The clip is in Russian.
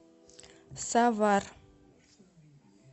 савар